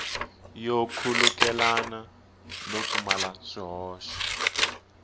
yo khulukelana no pfumala swihoxo